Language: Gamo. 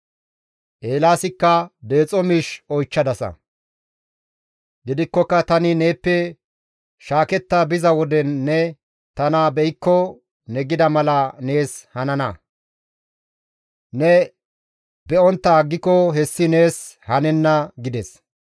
Eelaasikka, «Deexo miish oychchadasa; gidikkoka tani neeppe shaaketta biza wode ne tana be7ikko ne gida mala nees hanana; ne be7ontta aggiko hessi nees hanenna» gides.